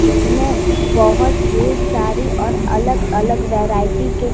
इसमें बहोत ढेर सारी और अलग अलग वैरायटी के--